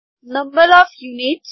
number of units